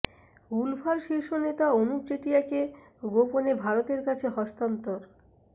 উলফার শীর্ষ নেতা অনুপ চেটিয়াকে গোপনে ভারতের কাছে হস্তান্তর